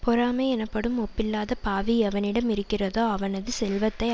பொறாமை எனப்படும் ஒப்பில்லாத பாவி எவனிடம் இருக்கிறதோ அவனது செல்வத்தை